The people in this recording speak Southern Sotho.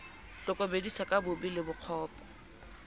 hlokomedisa ka bobe le bokgopo